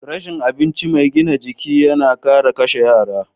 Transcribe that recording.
Rashin abinci mai gina jiki yana kara kashe yara.